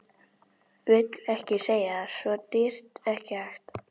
Vill ekki segja það, svo dýrt, ekki hægt.